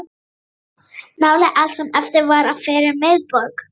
Nálega allt sem eftir var af fyrrum miðborg